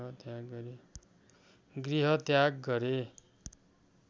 गृहत्याग गरे